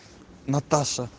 наташа